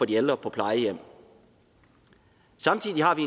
de ældre på plejehjem samtidig har vi